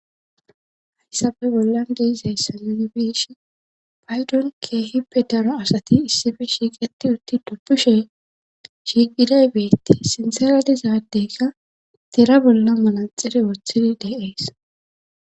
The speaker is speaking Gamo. Hayssappe bollan de'izeyssa nuuni be'ishin paydon keehippe daro asati issippe shiiqetti uutti dubbusha shiiqiday beettes sinththara diza addeyka tera bolla manaxire woththidii de'ees